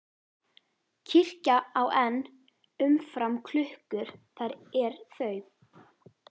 Kirkja á enn um fram klukkur þær er þau